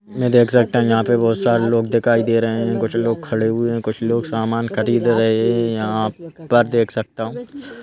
मैं देख सकता हूँ यहाँ पे बहुत सारे लोग दिखाई दे रहे हैं कुछ लोग खड़े हुए हैं कुछ लोग सामान खरीद रहे हैं यहाँ पर देख सकता हूँ--